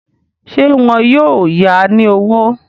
Ṣé wọn yóò ya ní owó?